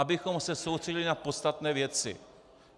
Abychom se soustředili na podstatné věci.